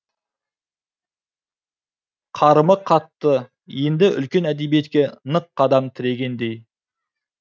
қарымы қатты енді үлкен әдебиетке нық қадам тірегендей